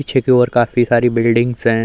पीछे की ओर काफी सारी बिल्डिंग्स हैं।